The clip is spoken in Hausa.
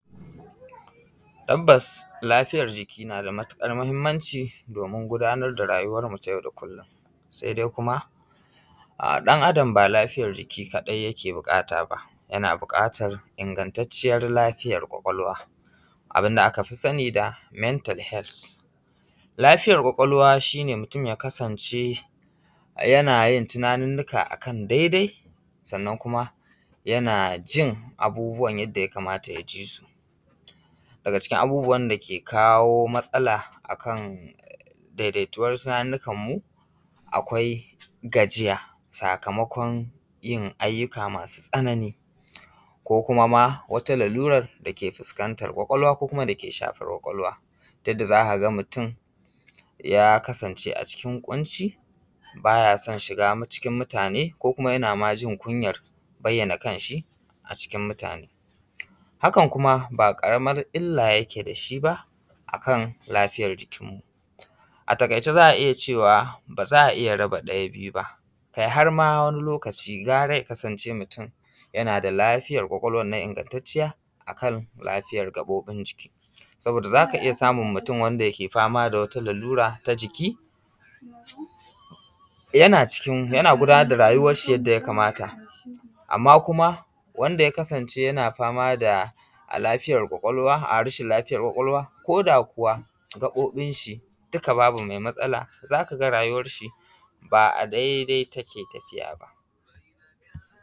Tabbas lafiyar jiki nada matuƙar mahimmanci domin gudanar da rayuwar mutum yau da kullum. Sai dai kuma ɗan Adam ba lafiyar jiki kaɗai yake buƙata ba yana buƙatar ingattacciyar lafiyar kwakwalwa, abinda a kafi sani da mental hels. Lafiyar kwakwalwa shine mutun ya kasance yanayin abubuwa akan dai dai sannan kuma yanajin abubuwan yanda yakamata ya jisu. Daga cikin abububwan dake kawo matsala akan dai dai tuwar tunanikan mu. Akwai gajiya sakamakon yin ayyuka masu tsanani, ko kuma ma wata lalurar dake fuskantar kwakwalwa ko kuma dake shafar kwakwalwa. Yanda zakaga mutun ya kasance a cikin kunci bayason shiga mutane ko kuma yana majin kunyan bayyana kanshi a cikin mutane. Hakan kuma ba ƙaramin illa yake dashi ba akan lafiyar jikin mu, a takaice za’a iyya cewa baza’a raba ɗaya biyu ba kai harma wani lokaci gara ya kasance mutun yana da lafiyar kwakwalwannan ingattaciya akan lafiyar gaɓoɓi jiki, saboda zaka iyya samun mutun wanda yake fama da wata lalura ta jiki yana gudanar da rayuwar shi yanda ya kamata amma kuma wanda ya kasance yana famada rashin lafiyar kwakwalwa koda kuwa gaɓaɓin shi duka babu mai matsala zakaga rayuwar shi ba a dai dai take tafiya ba.